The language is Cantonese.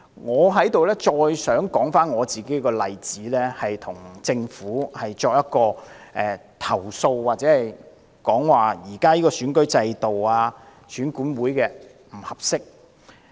我想再次說出我的例子，要向政府投訴現時選舉制度及選管會的不足之處。